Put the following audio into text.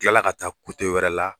kilala ka taa wɛrɛ la.